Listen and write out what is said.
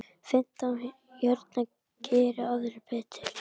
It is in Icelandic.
Fimmtán hérna, geri aðrir betur!